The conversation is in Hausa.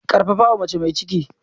Karfafawa mace mai ciki.